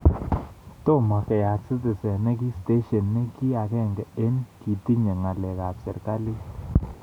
Tomo keyat Citizen ne ki stesyenit ne ki agenge ne kitiny ng'alek ab serkalit